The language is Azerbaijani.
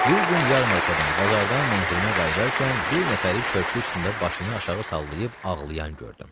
Bir gün yarmarkadan, bazardan mənzilimə qayıdarkən bir nəfəri körpü üstündə başını aşağı sallayıb ağlayan gördüm.